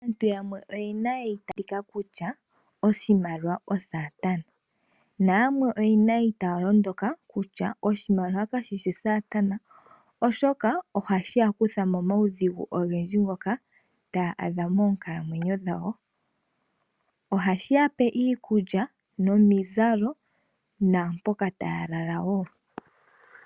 Aantu yamwe oyena eitaalo kutya oshimaliwa osaatana nayamwe oyena eitaalo kutya oshimaliwa kashishi saatana, oshoka ohashi ya kutha momaudhigu ogendji ngoka hayi iyadha moonkalamwenyo dhawo. Ohashi ya pe iikulya nomizalo naampoka taya lala wo.